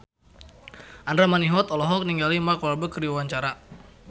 Andra Manihot olohok ningali Mark Walberg keur diwawancara